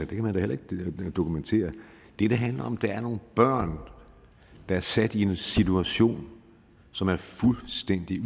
det kan man da heller ikke dokumentere det det handler om der er nogle børn der er sat i en situation som er fuldstændig